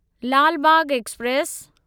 Lal Bagh express